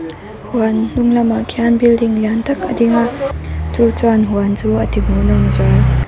huan hnunglamah khian building lian tak a ding a chu chuan huan chu a ti hmuhnawm zual.